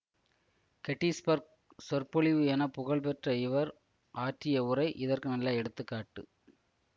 Gettysburg சொற்பொழிவு என புகழ்பெற்ற இவர் ஆற்றிய உரை இதற்கு நல்ல எடுத்து காட்டு